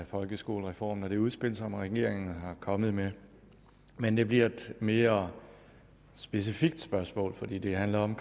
folkeskolereformen og det udspil som regeringen er kommet med men det bliver et mere specifikt spørgsmål fordi det handler om